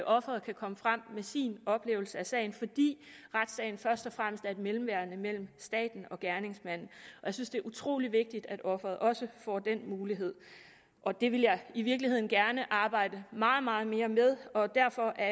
ofret kan komme frem med sin oplevelse af sagen fordi retssagen først og fremmest er et mellemværende mellem staten og gerningsmanden jeg synes det er utrolig vigtigt at offeret også får den mulighed og det ville jeg i virkeligheden gerne arbejde meget meget mere med derfor er